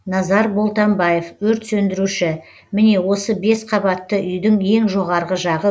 назар болтамбаев өрт сөндіруші міне осы бес қабатты үйдің ең жоғарғы жағы